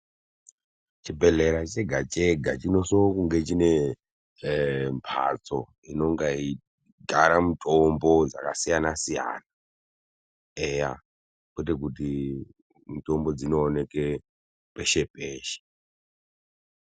Chebhedhlera chega-chega chinosongechine mhatso inonge yeigara mutombo dzakasiyana-siyana, eya kwete kuti mitombo dzinooneke peshe-peshe.